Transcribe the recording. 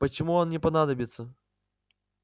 почему он не понадобится